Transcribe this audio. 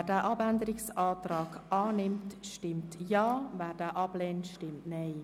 Wer den Abänderungsantrag annimmt, stimmt Ja, wer diesen ablehnt, stimmt Nein.